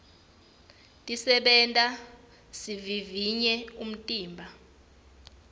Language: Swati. tisenta sivivivye umtimba